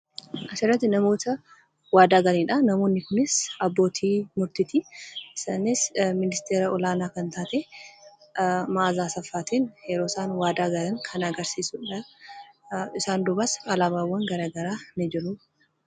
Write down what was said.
Asirratti namoota waadaa galanidhaa. Namoonni kunis abbootii murtitii. Isaanis ministeera olaanaa kan taate Maazaa Asaffaatiin yeroo isaan waadaa galan kan agarsiisuudhaa. Isaan duubas alaabaawwan garaa garaa ni jiru.